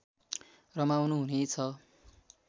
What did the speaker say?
रमाउनु हुने छ